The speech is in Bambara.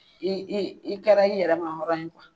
I kɛra i yɛrɛ ma hɔrɔn ye